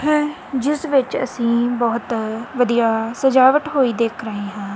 ਜਿੱਸ ਪਿਕਚਰ ਦੇ ਵਿੱਚ ਬਹੁਤ-